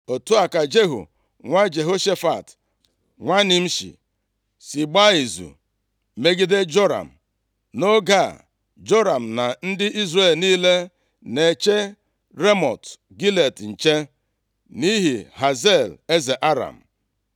Otu a ka Jehu nwa Jehoshafat, nwa Nimshi, si gbaa izu megide Joram. (Nʼoge a, Joram na ndị Izrel niile na-eche Ramọt Gilead nche, nʼihi Hazael eze Aram.)